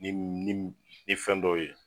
Ni mi ni mi ni fɛn dɔw ye